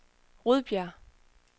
Rudbjerg